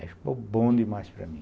Aí ficou bom demais para mim.